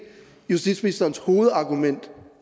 justitsministerens hovedargument